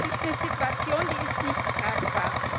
Das ist eine Situation, die ist nicht tragbar.